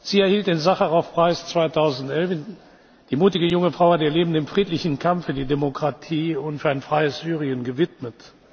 Sie erhielt den Sacharow Preis 2011. Die mutige junge Frau hat ihr Leben dem friedlichen Kampf für die Demokratie und für ein freies Syrien gewidmet.